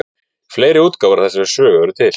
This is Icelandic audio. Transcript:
Fleiri útgáfur af þessari sögu eru til.